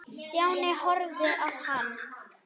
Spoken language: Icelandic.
Stjáni horfði á hann.